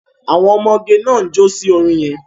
Àwọn ọmọgẹ náà ń jo sí orin yẹn.